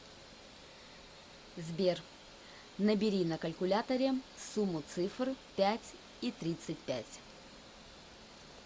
сбер набери на калькуляторе сумму цифр пять и тридцать пять